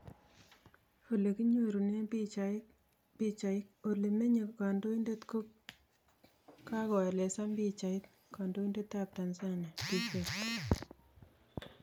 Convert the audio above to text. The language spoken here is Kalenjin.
Ole kokinyorune pichaik, ole menye kandoindet ko kagoelezan pichait, kandoindet ap Tnanzania, Dk